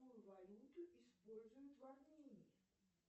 какую валюту используют в армении